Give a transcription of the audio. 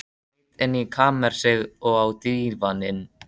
Hún leit inn í kamersið, og á dívaninn.